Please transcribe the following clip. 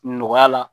Nɔgɔya la